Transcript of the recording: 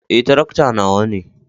Eh, tarakta nawa ne.